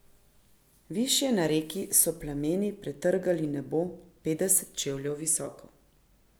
Višje na reki so plameni pretrgali nebo petdeset čevljev visoko.